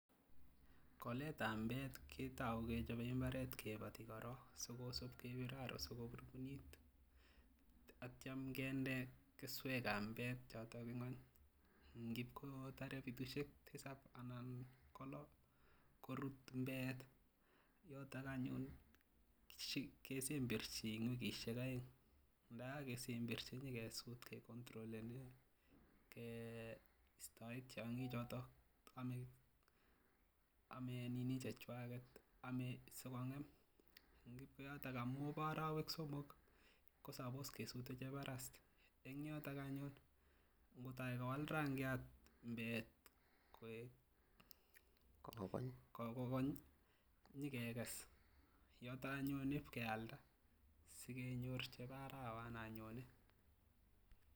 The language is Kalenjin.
Ngoletab mbeet ketou kechobe imbaret kiboti korong sikosib kebir aroo sikobur komie ak itio kinde keswekab mbeet choton ingweny ingikotore betushek tisab anan kolo korut mbeet yotok anyun kesemberji en wikishek oeng ndajakesemberji kenyokesut kecontrolenen kestoen tiongichoton amee nini chechwaket sikongem amun bo orowek somok kosupose kesut cheborast en yotok anyun ingotok kowal rangiat mbeet kokony konyokekes yotok anyun ip kealda sikenyor chebo arawanan nyone.